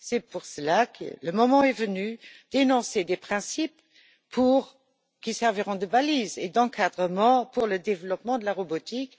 C'est pour cela que le moment est venu d'énoncer des principes qui serviront de balises et d'encadrement pour le développement de la robotique.